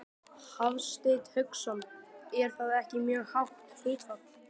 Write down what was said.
Hafsteinn Hauksson: Er það ekki mjög hátt hlutfall?